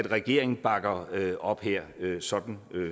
regeringen bakker op her sådan